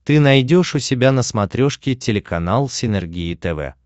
ты найдешь у себя на смотрешке телеканал синергия тв